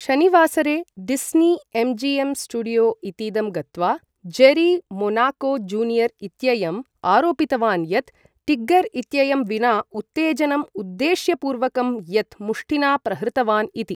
शनिवासरे Disney MGM studio इतीदं गत्वा जेरी मोनाको जूनियर् इत्ययम् आरोपितवान् यत् टिग्गर् इत्ययं विना उत्तेजनम् उद्देश्यपूर्वकम् यत् मुष्टिना प्रहृतवान् इति।